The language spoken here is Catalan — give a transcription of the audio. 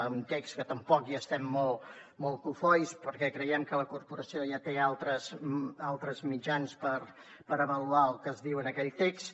a un text que tampoc n’estem molt cofois perquè creiem que la corporació ja té altres mitjans per avaluar el que es diu en aquell text